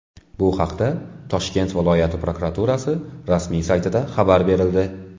Bu haqda Toshkent viloyati prokuraturasi rasmiy saytida xabar berildi .